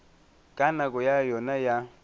ka nako ya yona ya